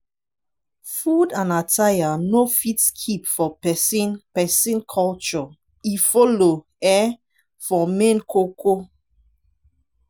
food and attire no fit skip for pesin pesin culture e follow um for main ko ko.